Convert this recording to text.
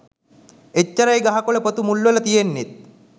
එච්චරයි ගහ කොල පොතු මුල්වල තියෙන්නෙත්